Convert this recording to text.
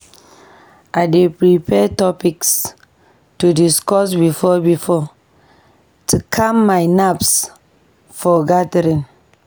I dey prepare topics to discuss before-before to calm my nerves for gatherings.